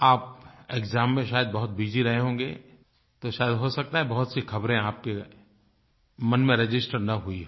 आप एक्साम में शायद बहुत बसी रहे होंगे तो शायद हो सकता है बहुत सी ख़बरे आपके मन में रजिस्टर न हुई हों